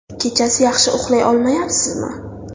Kechasi yaxshi uxlay olmayapsizmi?